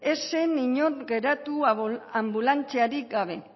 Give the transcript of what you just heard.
ez zen inor geratu anbulantziarik gabe